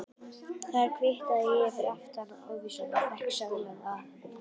Þar kvittaði ég aftan á ávísunina og fékk seðlana afhenta.